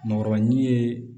Nɔrɔ ɲin ye